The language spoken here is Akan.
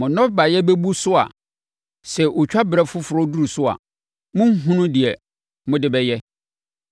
Mo nnɔbaeɛ bɛbu so a sɛ otwa berɛ foforɔ duru so a, morenhunu deɛ mode bɛyɛ.